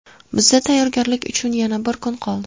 Bizda tayyorgarlik uchun yana bir kun qoldi.